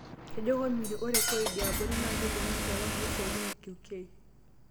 Etejo komitii, "Ore koid e abori naa kelimu enjalan osiatin e KQ."